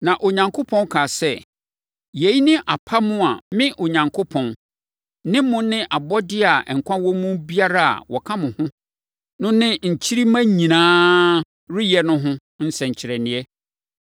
Na Onyankopɔn kaa sɛ, “Yei ne apam a me, Onyankopɔn, ne mo ne abɔdeɛ a nkwa wɔ mu biara a wɔka mo ho no ne nkyirimma nyinaa reyɛ no ho nsɛnkyerɛnneɛ.